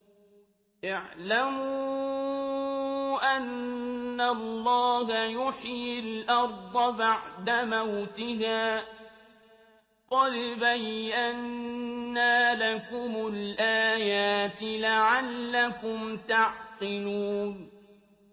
اعْلَمُوا أَنَّ اللَّهَ يُحْيِي الْأَرْضَ بَعْدَ مَوْتِهَا ۚ قَدْ بَيَّنَّا لَكُمُ الْآيَاتِ لَعَلَّكُمْ تَعْقِلُونَ